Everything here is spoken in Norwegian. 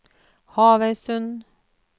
Havøysund